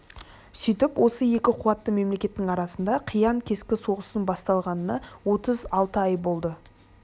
сөйтіп осы екі қуатты мемлекеттің арасында қиян-кескі соғыстың басталғанына отыз алты ай болды